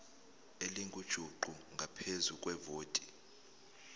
elingujuqu ngaphezu kwevoti